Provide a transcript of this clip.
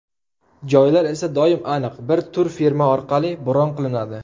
Joylar esa doim aniq bir turfirma orqali bron qilinadi.